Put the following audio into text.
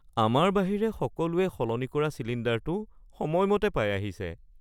আমাৰ বাহিৰে সকলোৱে সলনি কৰা চিলিণ্ডাৰটো সময়মতে পাই আহিছে।